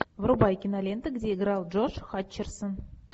врубай киноленты где играл джош хатчерсон